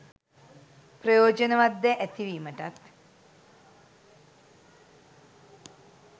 ප්‍රයෝජනවත් දෑ ඇතිවීමටත්